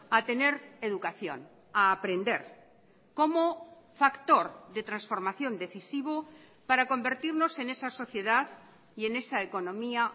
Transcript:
a tener educación a aprender como factor de transformación decisivo para convertirnos en esa sociedad y en esa economía